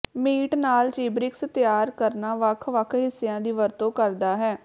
meat ਨਾਲ ਚੀਬਰਿਕਸ ਤਿਆਰ ਕਰਨਾ ਵੱਖ ਵੱਖ ਹਿੱਸਿਆਂ ਦੀ ਵਰਤੋਂ ਕਰਦਾ ਹੈ